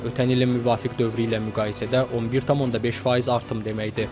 Bu da ötən ilin müvafiq dövrü ilə müqayisədə 11,5% artım deməkdir.